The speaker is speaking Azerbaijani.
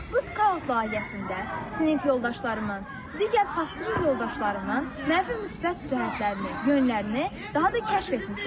Bu skaut layihəsində sinif yoldaşlarımın, digər partnyor yoldaşlarımın mənfi, müsbət cəhətlərini, yönlərini daha da kəşf etmişəm.